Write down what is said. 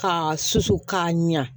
K'a susu k'a ɲa